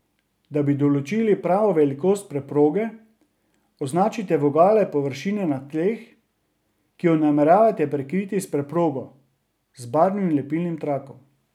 Da bi določili pravo velikost preproge, označite vogale površine na tleh, ki jo nameravate prekriti s preprogo, z barvnim lepilnim trakom.